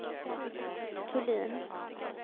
Thulin